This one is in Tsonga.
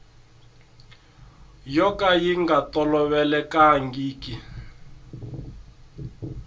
yo ka yi nga tolovelekangiki